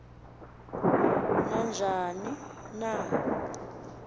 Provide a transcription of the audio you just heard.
na njani na